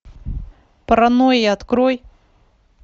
паранойя открой